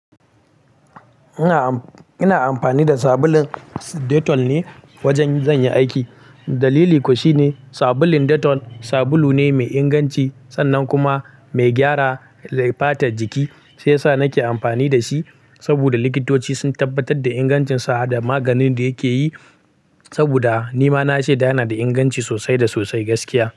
Ina amfani da sabulun Dettol ne wajen zan yi aiki. Dalili kuwa shine sabulun Dettol sabulu ne mai inganci sannan kuma mai gyara fatar jiki shiyasa nake amfani da shi. Saboda likitoci sun tabbatar da ingancinsa da maganin da yake yi saboda nima na sheda yana da inganci sosai da sosai gaskiya.